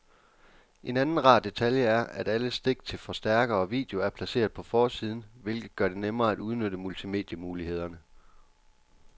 En anden rar detalje er, at alle stik til forstærker og video er placeret på forsiden, hvilket gør det nemmere at udnytte multimedie-mulighederne.